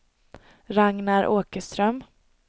Ragnar Åkerström